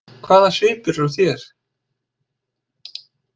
Hvaða svipur er á þér!